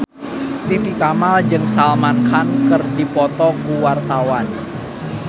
Titi Kamal jeung Salman Khan keur dipoto ku wartawan